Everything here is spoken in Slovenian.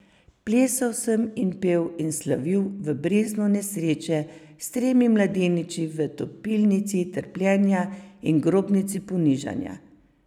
Plesal sem in pel in slavil v breznu nesreče, s tremi mladeniči v topilnici trpljenja in grobnici ponižanja.